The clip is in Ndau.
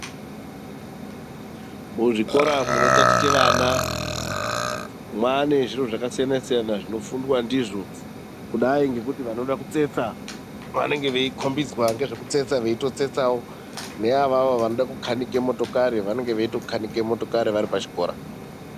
Muzvikora munotatiche vana mwane zviro zvakasiyana siyana zvinofundwa ndizvo kudai ngekuti vanoda kutsetsa vanenge veikombidzwa nezvekutsetsa veitotsetsawo, neavavo vanode kukanike motokari vanenge veitokanika motokari varipo pachikora.